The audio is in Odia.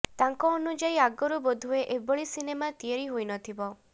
ତାଙ୍କ ଅନୁଯାୟୀ ଆଗରୁ ବୋଧହୁଏ ଏଭଳି ସିନେମା ତିଆରି ହୋଇନଥିବ